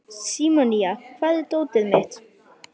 Símonía, hvar er dótið mitt?